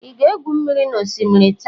ị ga-egwu mmiri n'osimiri taa?